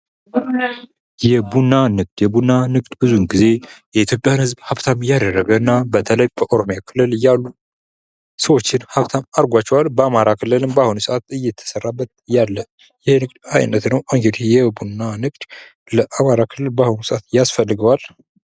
የቡና ንግድ የቡና ንግድ ብዙ ጊዜ የኢትዮጵያን ህዝብ ሀብታም ያደረገ እና በተለይ በኦሮሚያ ክልል ያሉ ሰዎችን ሀብታም አድርጓቸዋል። በአማራ ክልልም አሁን ላይ እየተሰራበት ያለ የንግድ አይነት ነው። እንግዲህ የቡና ንግድ ለአማራ ክልል በአሁኑ ሰአት ያስፈልገዋል።